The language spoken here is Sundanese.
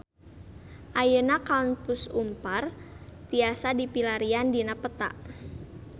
Ayeuna Kampus Unpar tiasa dipilarian dina peta